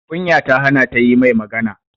Kunya ta hana ta yi mai magana